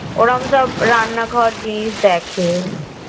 ওরম সব রান্নাঘর জিনিস দেখে